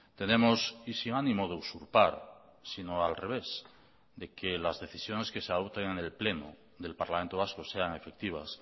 tenemos y sin ánimo de usurpar sino al revés de que las decisiones que se adopten en el pleno del parlamento vasco sean efectivas